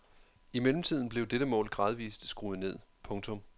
I mellemtiden blev dette mål gradvist skruet ned. punktum